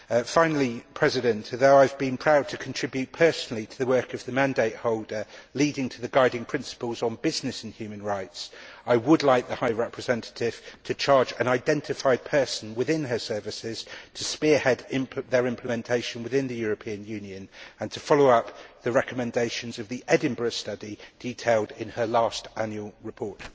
Finally, although I have been proud to contribute personally to the work of the mandate holder leading to the guiding principles on business and human rights, I would like the High Representative to charge an identified person within her services to spearhead their implementation within the European Union and to follow up the recommendations of the Edinburgh Study detailed in her last annual report.